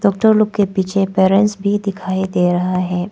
Doctor लोग के पीछे पेरेंट्स भी दिखाई रहा है।